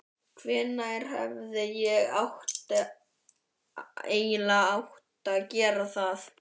Hvenær hefði ég eiginlega átt að gera það?